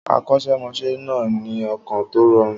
Akọ́ṣẹ́mọṣẹ́ náà ní ọkàn tó rọrùn.